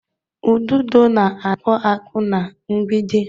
Ududo na-akpụ akpụ na-mgbidi.